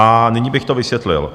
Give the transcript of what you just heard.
A nyní bych to vysvětlil.